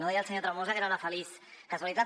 deia el senyor tremosa que era una feliç casualitat